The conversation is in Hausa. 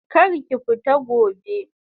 Kar ki fita gobe!